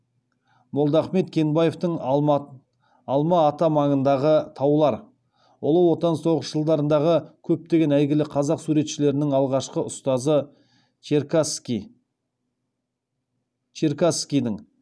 молдахмет кенбаевтың алма ата маңындағы таулар ұлы отан соғыс жылдарындағы көптеген әйгілі қазақ суретшілерінің алғашқы ұстазы черкасскийдің